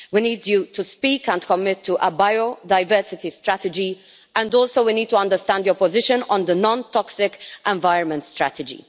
We need you to speak and commit to a biodiversity strategy and we also need to understand your position on the non toxic environment strategy.